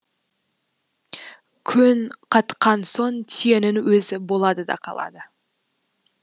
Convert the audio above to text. көн қатқан соң түйенің өзі болады да қалады